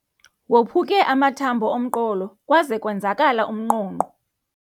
Waphuke amathambo omqolo kwaze kwenzakala umnqonqo.